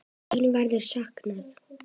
Þín verður saknað.